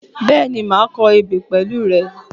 Bẹ́ẹ̀ni, màá kọ ebè pẹ̀lú rẹ.